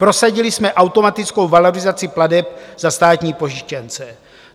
Prosadili jsme automatickou valorizaci plateb za státní pojištěnce.